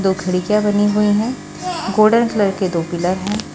दो खरिजा बनी हुई है। गोल्डन कलर के दो पिलर है।